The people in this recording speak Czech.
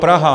Praha.